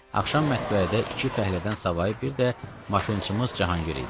Axşam mətbəədə iki fəhlədən savayı bir də maşınçımız Cahangir idi.